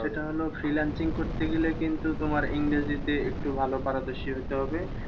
সেটা হলো freelancing করতে গেলে কিন্তু তোমার ইংরেজিতে একটু ভালো পারদর্শী হতে হবে।